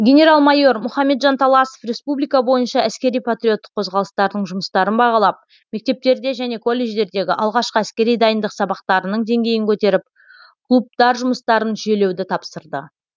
генерал майор мұхамеджан таласов республика бойынша әскери патриоттық қозғалыстардың жұмыстарын бағалап мектептерде және колледждердегі алғашқы әскери дайындық сабақтарының деңгейін көтеріп клубтар жұмыстарын жүйелеуді тапсырды